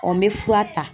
Ɔ n bɛ fura ta